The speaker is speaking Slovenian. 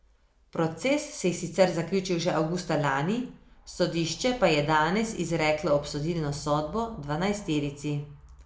Proces se je sicer zaključil že avgusta lani, sodišče pa je danes izreklo obsodilno sodbo dvanajsterici.